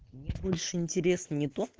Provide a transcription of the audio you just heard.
мне больше интересно не то